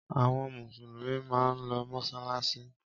Àwọn Mùsùlùmí máa ń lọ mọ́ṣáláṣí.